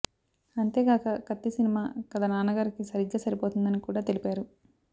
అంతేగాక కత్తి సినిమా కధ నాన్నగారికి సరిగ్గా సరిపోతుందని కూడా తెలిపారు